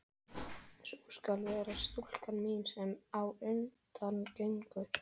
Sú skal vera stúlkan mín, sem á undan gengur.